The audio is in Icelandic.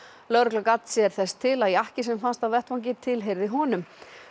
lögregla gat sér þess til að jakki sem fannst á vettvangi tilheyrði honum